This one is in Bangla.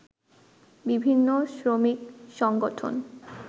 বিভিন্ন শ্রমিক সংগঠন